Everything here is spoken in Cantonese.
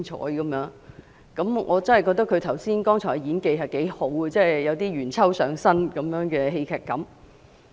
我也覺得她剛才的演技不俗，有點"元秋"上身的戲劇感。